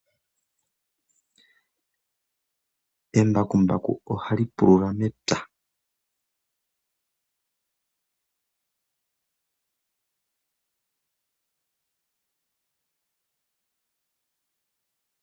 Embakumbaku ohali pulula mepya.